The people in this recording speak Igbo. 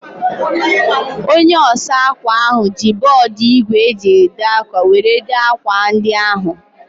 Onye osa akwa ahu ji bọọdu igwe e ji ede akwa were dee akwa ndi ahu